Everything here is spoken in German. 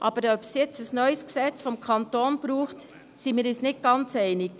Aber ob es nun ein neues Gesetz des Kantons braucht, darüber sind wir uns nicht ganz einig.